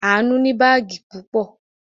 Àánú ní báágì púpọ̀.